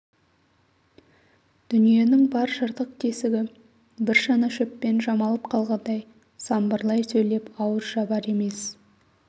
дүниенің бар жыртық-тесігі бір шана шөппен жамалып қалғандай самбырлай сөйлеп ауыз жабар емес